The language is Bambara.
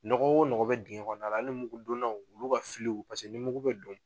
Nɔgɔ o nɔgɔ bɛ dingɛ kɔnɔna la hali ni mugudonnaw olu ka ni mugu bɛ don